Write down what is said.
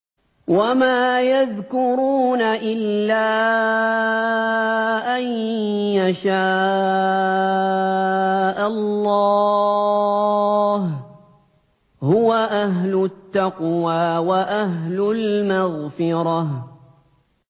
وَمَا يَذْكُرُونَ إِلَّا أَن يَشَاءَ اللَّهُ ۚ هُوَ أَهْلُ التَّقْوَىٰ وَأَهْلُ الْمَغْفِرَةِ